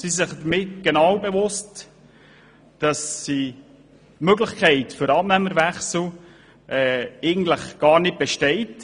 Diese sind sich bewusst, dass die Möglichkeit, den Abnehmer zu wechseln, nicht wirklich besteht.